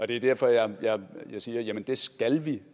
det er derfor jeg siger at det skal vi